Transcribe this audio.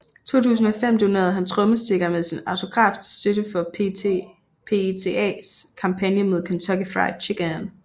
I 2005 donerede han trommestikker med sin autograf til støtte for PETAs kampagne mod Kentucky Fried Chicken